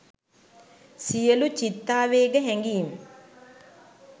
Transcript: සියළු චිත්තාවේග හැඟීම්